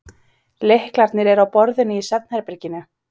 Lyklarnir eru á borðinu í svefnherberginu.